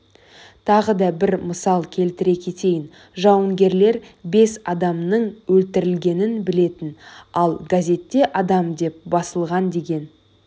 тағы да бір мысал келтіре кетейін жауынгерлер бес адамның өлтірілгенін білетін ал газетте адам деп басылған деген